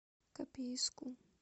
копейску